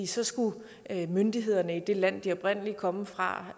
så skulle myndighederne i det land som de oprindelig kom fra